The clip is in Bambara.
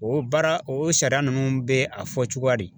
O baara o sariya ninnu bɛ a fɔ cogoya di.